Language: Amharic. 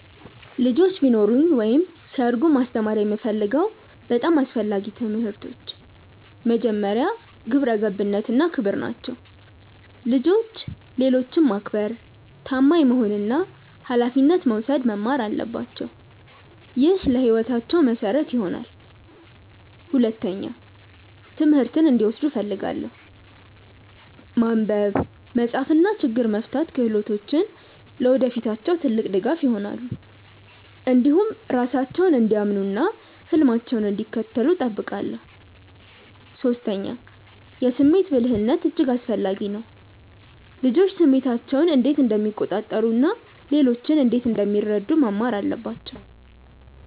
ልጆች ቢኖሩኝ ወይም ሲያድጉ ማስተማር የምፈልገው በጣም አስፈላጊ ትምህርቶች መጀመሪያ፣ ግብረ ገብነት እና ክብር ናቸው። ልጆች ሌሎችን ማክበር፣ ታማኝ መሆን እና ኃላፊነት መውሰድ መማር አለባቸው። ይህ ለሕይወታቸው መሠረት ይሆናል። ሁለተኛ፣ ትምህርትን እንዲወዱ እፈልጋለሁ። ማንበብ፣ መጻፍ እና ችግኝ መፍታት ክህሎቶች ለወደፊታቸው ትልቅ ድጋፍ ይሆናሉ። እንዲሁም ራሳቸውን እንዲያምኑ እና ህልማቸውን እንዲከተሉ እጠብቃለሁ። ሶስተኛ፣ የስሜት ብልህነት እጅግ አስፈላጊ ነው። ልጆች ስሜታቸውን እንዴት እንደሚቆጣጠሩ እና ሌሎችን እንዴት እንደሚረዱ መማር አለባቸው